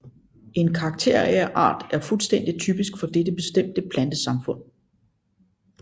En karakterart er fuldstændig typisk for dette bestemte plantesamfund